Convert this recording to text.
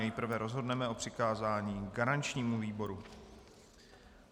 Nejprve rozhodneme o přikázání garančnímu výboru.